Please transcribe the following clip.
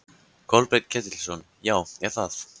Kolbeinn Ketilsson: Já, er það?